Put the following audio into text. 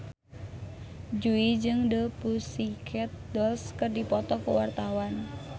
Jui jeung The Pussycat Dolls keur dipoto ku wartawan